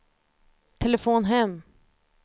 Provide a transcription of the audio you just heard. telefon hem